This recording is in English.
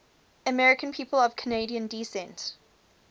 american people of canadian descent